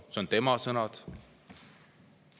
Need on tema sõnad.